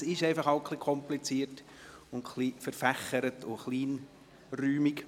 Es ist halt einfach ein bisschen kompliziert, verwinkelt und kleinräumig.